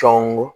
Sɔngɔ